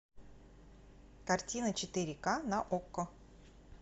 картина четыре ка на окко